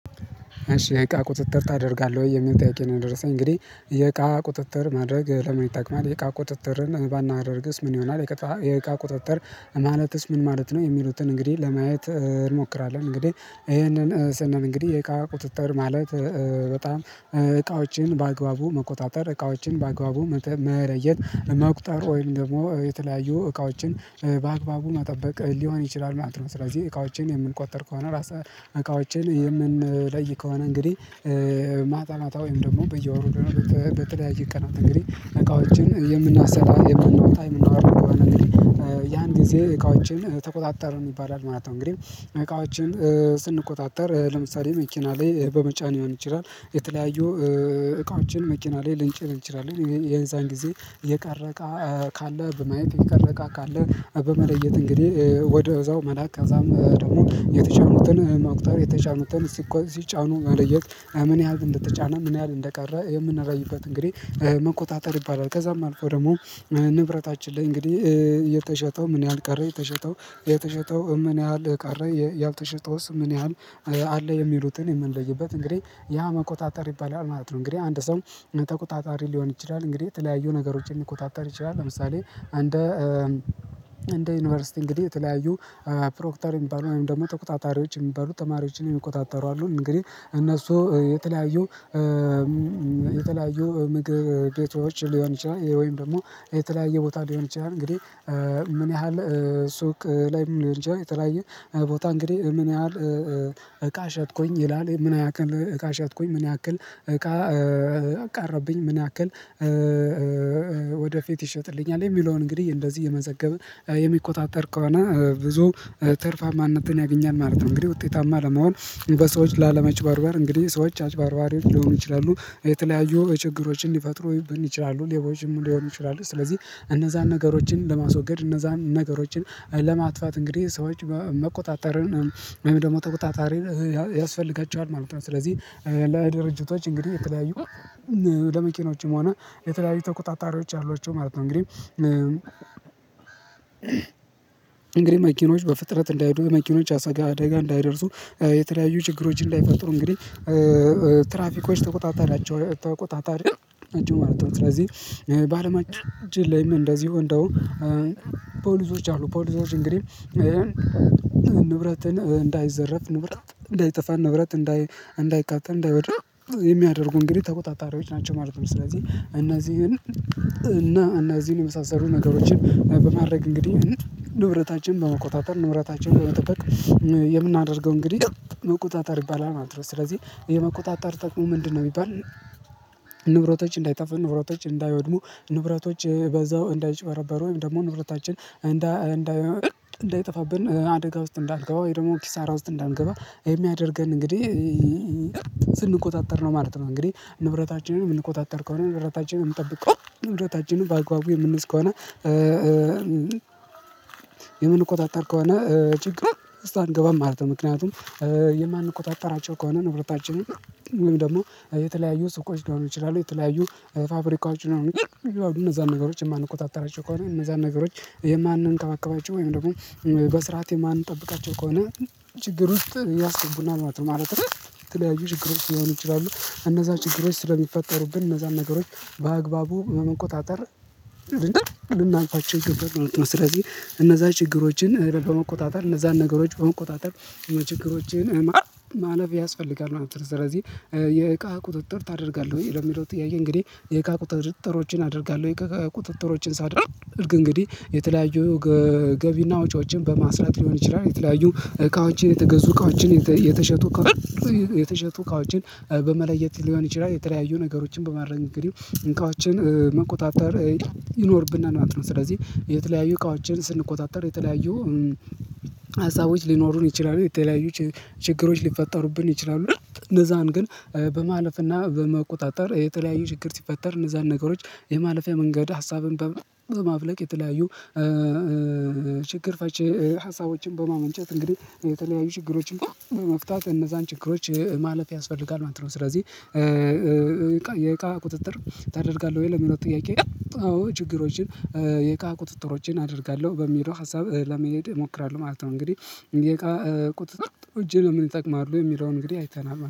እሺ የእቃ ቁጥጥር ታደርጋለህ ወይ የሚል ጥያቄ ነው? የደረሰኝ እንግዲህ የእቃ ቁጥጥር ማድረግ ለምን ይጠቅማል የእቃ ቁጥጥርን ባናደርግስ ምን ይሆናል? የእቃ ቁጥጥር ማለትስ ምን ማለት ነው? የሚሉትን እንግዲህ ለማየት እንሞክራለን እንግዲህ ይሄንን ስንል እንግዲህ የእቃ ቁጥጥር ማለት በጣም እቃዎችን በአግባቡ መቆጣጠር እቃዎችን በአግባቡ መለየት መቁጠር ወይም ደግሞ የተለያዩ እቃዎችን በአግባቡ መጠበቅ ሊሆን ይችላል ማለት ነው። ስለዚህ እቃዎችን የምንቆጠር ከሆነ እቃዎችን የምንለይ ከሆነ እንግዲህ ማታ ማታ ወይም ደግሞ በየወሩ ደግሞ በተለያየ ቀናት እንግዲህ እቃዎችን የምናሰላ የምናወጣ የምናወርድ ከሆነ እንግዲህ ያን ጊዜ እቃዎችን ተቆጣጠር ይባላል ማለት ነው። እንግዲህ እቃዎችን ስንቆጣጠር ለምሳሌ መኪና ላይ በመጫን ሊሆን ይችላል የተለያዩ እቃዎችን መኪና ላይ ልንጨን ንችላለን የዛን ጊዜ የቀረቀ ካለ በማየት የቀረ እቃ ካለ በመለየት እንግዲህ ወደዛው መላክ ከዛም ደግሞ የተጫኑትን መቁጠር የተጫኑትን ሲጫኑ መለየት ምን ያህል እንደተጫነ ምን ያህል እንደቀረ የምንለይበት እንግዲህ መቆጣጠር ይባላል። ከዛም አልፎ ደግሞ ንብረታችን ላይ እንግዲህ የተሸጠው ምን ያህል ቀረ የተሸጠው የተሸጠው ምን ያህል ቀረ ያልተሸጠውስ ምን ያህል አለ የሚሉትን የምንለይበት እንግዲህ ያ መቆጣጠር ይባላል ማለት ነው። እንግዲህ አንድ ሰው ተቆጣጣሪ ሊሆን ይችላል እንግዲህ የተለያዩ ነገሮችን ሊቆጣጠር ይችላል ለምሳሌ እንደ እንደ ዩኒቨርሲቲ እንግዲህ የተለያዩ ፕሮክተር የሚባሉ አሁን ደግሞ ተቆጣጣሪዎች የሚባሉ ተማሪዎችን የሚቆጣጠሩ አሉ እንግዲህ እነሱ የተለያዩ የተለያዩ ምግብ ቤቶች ሊሆን ይችላል ወይም ደግሞ የተለያየ ቦታ ሊሆን ይችላል እንግዲህ ምን ያህል ሱቅ ላይም ሊሆን ይችላል የተለያየ ቦታ እንግዲህ ምን ያህል እቃ ሸጥኩኝ ይላል ምን ያህል እቃ ሸጥኩኝ ምን ያህል እቃ ቀረብኝ ምን ያክል ወደፊት ይሸጥልኛል የሚለውን እንግዲህ እንደዚህ የመዘገብን የሚቆጣጠር ከሆነ ብዙ ትርፋማነትን ያገኛል ማለት ነው። እንግዲህ ውጤታማ ለመሆን በሰዎች ላለመጭበርበር እንግዲህ ሰዎች አጭባርባሪዎች ሊሆኑ ይችላሉ የተለያዩ ችግሮችን ሊፈጥሩብን ይችላሉ ሌቦችን ሊሆኑ ይችላሉ ስለዚህ እነዛን ነገሮችን ለማስወገድ እነዛን ነገሮችን ለማጥፋት እንግዲህ ሰዎች መቆጣጠርን ወይም ደግሞ ተቆጣጣሪ ያስፈልገችዋል ማለት ነው። ስለዚህ ለድርጅቶች እንግዲህ የተለያዩ ለመኪኖችም ሆነ የተለያዩ ተቆጣጣሪዎች አሏቸው ማለት ነው። እንግዲህ እንግዲህ መኪኖች በፍጥረት እንዳይሄዱ መኪኖች አደጋ እንዳይደርሱ የተለያዩ ችግሮችን ላይፈጥሩ እንግዲህ ትራፊኮች ተቆጣጣሪ ተቆጣጣሪ ናቸው ማለት ነው። ስለዚህ በአለማችን ላይም እንደዚሁ እንደም ፖሊሶች አሉ ፖሊሶች እንግዲህ ንብረትን እንዳይዘረፍ ንብረት እንዳይጠፋ ንብረት እንዳይቃጠል እንዳይወድም የሚያደርጉ እንግዲህ ተቆጣጣሪዎች ናቸው ማለት ነው። ስለዚህ እነዚህን እና እነዚህን የመሳሰሉ ነገሮችን በማድረግ እንግዲህ ንብረታችንን በመቆጣጠር ንብረታችን በመጠበቅ የምናደርገው እንግዲህ መቆጣጠር ይባላል ማለት ነው። ስለዚህ የመቆጣጠር ጥቁም ምንድነው የሚባል? ንብረቶች እንዳይጠፉ ንብረቶች እንዳይወድሙ ንብረቶች በዛው እንዳይጨበረበሩ ወይም ደግሞ ንብረታችን እንዳይጠፋብን አደጋ ውስጥ እንዳንገባ ወይ ደግሞ ኪሳራ ውስጥ እንዳንገባ የሚያደርገን እንግዲህ ስንቆጣጠር ነው ማለት ነው። እንግዲህ ንብረታችንን የምንቆጣጠር ከሆነ ንብረታችንን የምንጠብቅ ከሆነ ንብረታችንን ባአግባቡ የምንይዝ ከሆነ የምንቆጣጠር ከሆነ ችግር ውስጥ አንገባም ማለት ነው። ምክንያቱም የማንቆጣጠራቸው ከሆነ ንብረታችን ወይም ደግሞ የተለያዩ ሱቆች ሊሆኑ ይችላሉ የተለያዩ ፋብሪካዎች ሊሆኑ ይችላሉ እነዛን ነገሮችን የማንቆጣጠራቸው ከሆነ እነዛን ነገሮች የማንንከባከባቸው ወይም ደግሞ በስርዓት የማንጠብቃቸው ከሆነ ችግር ውስጥ ያስገቡናል ማለት ነው። የተለያዩ ችግርች ሊሆኑ ይችላሉ እነዛን ችግሮች ስለሚፈጠሩብን እነዛን ነገሮች በአግባቡ በመቆጣጠር ልናልፋቸው ይገባል ማለት ነው። ስለዚህ እነዛን ችግሮችን በመቆጣጠር እነዛን ነገሮች በመቆጣጠር ችግሮችን ማለፍ ያስፈልጋል ማለት ነው። ስለዚህ የእቃ ቁጥጥር ታደርጋለህ ወይ ለሚለው ጥያቄ እንግዲህ የእቃ ቁጥጥሮችን አደርጋለሁ። የእቃ ቁጥጥሮችን ሳደርግ እንግዲህ የተለያዩ ገቢና ወጪዎችን በማስላት ሊሆን ይችላል የተለያዩ እቃዎችን የተገዙ እቃዎችን የተሸጡ እቃዎችን በመለየት ሊሆን ይችላል የተለያዩ ነገሮችን በማድረግ እንግዲህ እቃዎችን መቆጣጠር ይኖርብና ማለት ነው። ስለዚህ የተለያዩ እቃዋችን ስንቆጣጠር የተለያዩ ሀሳቦች ሊኖሩን ይችላሉ የተለያዩ ችግሮች ሊፈጠሩብን ይችላሉ እነዛን ግን በማለፍና በመቆጣጠር የተለያዩ ችግር ሲፈጠር እነዛን ነገሮች የማለፊያ መንገድ ሀሳብን በማፍለቅ የተለያዩ ችግር ፈቺ ሀሳቦችን በማመንጨት እንግዲህ የተለያዩ ችግሮችን በመፍታት እነዛን ችግሮች ማለፍ ያስፈልጋል ማለት ነው። ስለዚህ የእቃ ቁጥጥር ታደርጋለህ ወይ ለሚለው ጥያቄ? አዎ ችግሮችን የእቃ ቁጥጥሮችን አደርጋለሁ በሚለው ሀሳብ ለመሄድ እሞክራለሁ ማለት ነው። እንግዲህ የእቃ ቁጥጥሮች ለምን እጠቅማለሁ የሚለውን እንግዲህ አይተናል